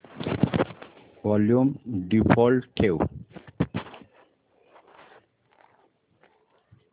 volume default ठेव